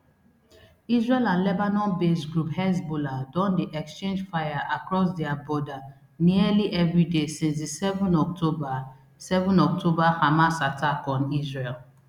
israel and lebanonbased group hezbollah don dey exchange fire across dia border nearly everyday since di seven october seven october hamas attack on israel